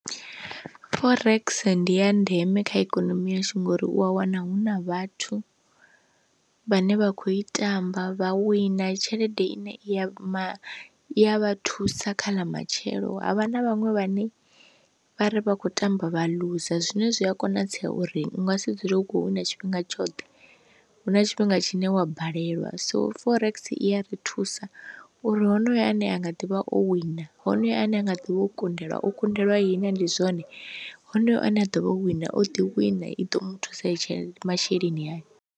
Forex ndi ya ndeme kha ikonomi yashu ngori u a wana hu na vhathu vhane vha kho i tamba vha wina tshelede i ne i a i a thusa kha lamatshelo, havha na vhaṅwe vhane vhari vha kho tamba vha ḽuza zwine zwi a konadzea uri u nga si dzule hu kho wina tshifhinga tshoṱhe, hu na tshifhinga tshine wa balelwa. So forex i ya ri thusa u uri honoyo ane a nga ḓivha o wina honoyo ane a nga ḓivha o kundelwa o kundelwa ihina ndi zwone, honoyo ane a ḓo vha wina o ḓi wina i ḓo muthusa itshe masheleni ayo.